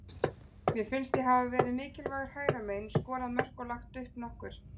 Mér finnst ég hafa verið mikilvægur hægra megin, skorað mörk og lagt upp nokkur.